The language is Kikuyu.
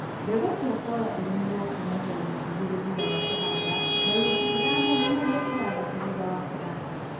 mbegũ cia soya ilĩmĩrwo kumagia wiki igĩlĩ thutha wa kũhanda na wiki ithano nginyagia ithathatũ thutha wa kũhanda